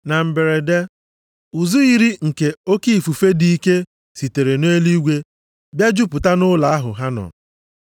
Na mberede, ụzụ yiri nke oke ifufe dị ike sitere nʼeluigwe bịa jupụta nʼụlọ ahụ ha nọ.